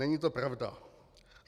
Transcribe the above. Není to pravda.